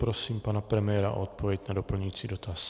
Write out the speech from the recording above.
Prosím pana premiéra o odpověď na doplňující dotaz.